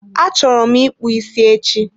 Achọrọ m ịkpụ isi echi.